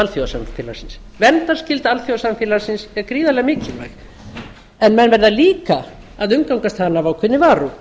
alþjóðasamfélagsins verndarskylda alþjóðasamfélagsins er gríðarlega mikilvæg en menn verða líka að umgangast hana af